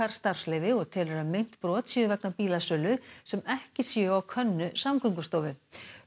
starfsleyfi og telur að meint brot séu vegna bílasölu sem ekki sé á könnu Samgöngustofu